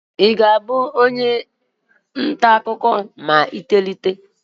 Ị ga-abụ onye ntaakụkọ ma ị tolite